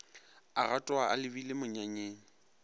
a gatoga a lebile monyanyeng